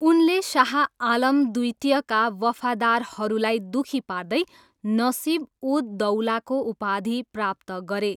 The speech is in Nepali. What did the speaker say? उनले शाह आलम द्वितीयका वफादारहरूलाई दुखी पार्दै नसिब उद दौलाको उपाधि प्राप्त गरे।